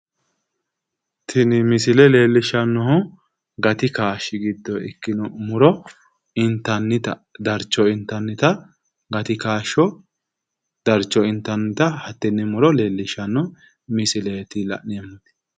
Tini misile. leellishshannohu gati kaashshi giddonni ikkino muro intannita darcho intannita gati kaashsho hattenne muro leellishshanno hatee misileeti la'neemmoti.